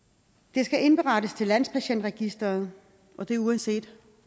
det skal indberettes til landspatientregisteret og det er uanset